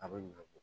A bɛ ɲinɛ kɔ